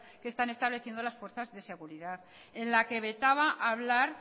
que están estableciendo las fuerzas de seguridad en la que vetaba hablar